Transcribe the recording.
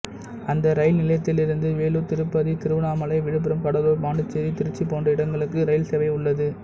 அந்த இரயில் நிலையத்திலிருந்து வேலூர் திருப்பதி திருவண்ணாமலை விழுப்புரம் கடலூர் பாண்டிச்சேரி திருச்சி போன்ற இடங்களுக்கு ரயில் சேவை உள்ளது